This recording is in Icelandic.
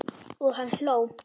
Og hann hló.